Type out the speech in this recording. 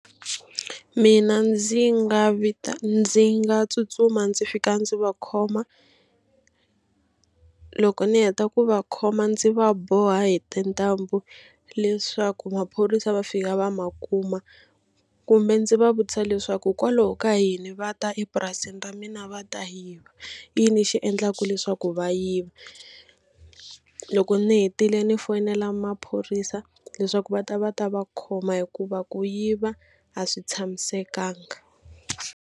Mina ndzi nga vita ndzi nga tsutsuma ndzi fika ndzi va khoma loko ni heta ku va khoma ndzi va boha hi tintambu leswaku maphorisa va fika va ma kuma kumbe ndzi va vutisa leswaku hikwalaho ka yini va ta epurasini ra mina va ta yiva. I yini xi endlaka leswaku va yiva. Loko ni hetile ni foyinela maphorisa leswaku va ta va ta va khoma hikuva ku yiva a swi tshamisekanga.